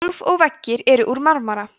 gólf og veggir eru úr marmara